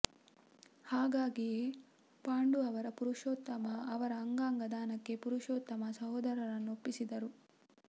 ಹಾಗಾಗಿಯೇ ಪಾಂಡು ಅವರು ಪುರುಷೋತ್ತಮ ಅವರ ಅಂಗಾಂಗ ದಾನಕ್ಕೆ ಪುರುಷೋತ್ತಮ ಸಹೋದರರನ್ನು ಒಪ್ಪಿಸಿದ್ದರು